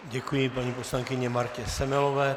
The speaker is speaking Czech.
Děkuji paní poslankyni Martě Semelová.